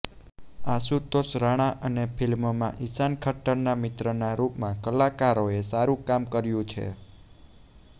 આશુતોષ રાણા અને ફિલ્મમાં ઈશાન ખટ્ટરના મિત્રના રૂપમાં કલાકારોએ સારુ કામ કર્યુ છે